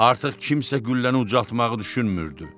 Artıq kimsə qülləni ucaltmağı düşünmürdü.